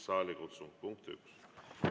Punkt üks.